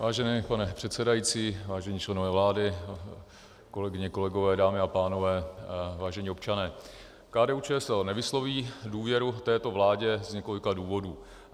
Vážený pane předsedající, vážení členové vlády, kolegyně, kolegové, dámy a pánové, vážení občané, KDU-ČSL nevysloví důvěru této vládě z několika důvodů.